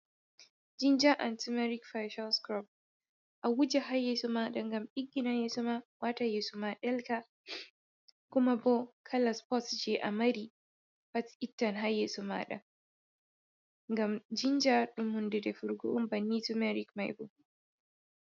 Jinja an tumeric fichalscrob a wuje ha yesoma ɗa ngam ɗiggina yesoma, wata yeso ma ɗelka kuma bo kala spots je a mari fu ittan ha yeso maɗa, ngam jinja ɗum hunde defugo on banni tumeric mai bo.